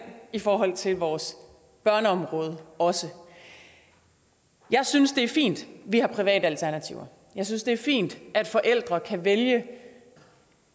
i forhold til vores børneområde også jeg synes det er fint at vi har private alternativer jeg synes det er fint at forældre kan vælge